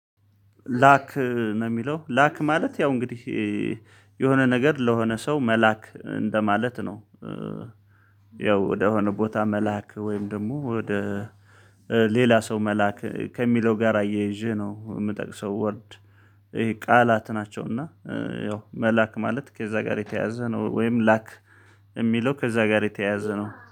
ላክ ነው የሚለው ላክ ማለት ያው እንግዲህ የሆነ ነገር ለሆነ ሰው መላክ እንደማለት ነው። ያው ወደሆነ ቦታ መላክ ወይም ደግሞ ወደ ሌላ ሰው መላክ ከሚለው ጋር አያይዤ ነው የምጠቅሰው። ወርድ ይሄ ቃላት ናቸው እና ያው መላክ ማለት ከዛ ጋር የተያያዘ ነው። ወይም ላክ የሚለው ከዛ ጋር የተያያዘ ነው